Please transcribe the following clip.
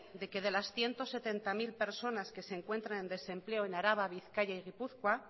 de que de las ciento setenta mil personas que se encuentran en desempleo en araba bizkaia y gipuzkoa